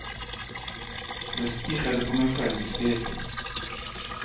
Jag stirrade på mig själv i spegeln.